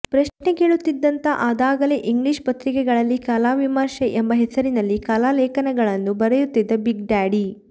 ಪ್ರಶ್ನೆ ಕೇಳುತ್ತಿದ್ದಾತ ಅದಾಗಲೇ ಇಂಗ್ಲೀಷ್ ಪತ್ರಿಕೆಗಳಲ್ಲಿ ಕಲಾವಿಮರ್ಶೆ ಎಂಬ ಹೆಸರಿನಲ್ಲಿ ಕಲಾಲೇಖನಗಳನ್ನು ಬರೆಯುತ್ತಿದ್ದ ಬಿಗ್ ಡ್ಯಾಡಿ